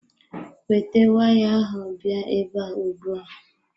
Weta waya ahụ bịa ebe a ugbua.